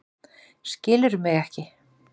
Skilurðu mig ekki?